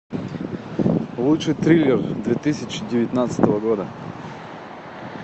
лучший триллер две тысячи девятнадцатого года